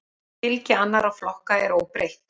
Fylgi annarra flokka er óbreytt